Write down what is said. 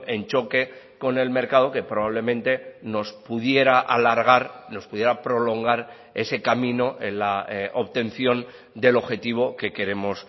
en choque con el mercado que probablemente nos pudiera alargar nos pudiera prolongar ese camino en la obtención del objetivo que queremos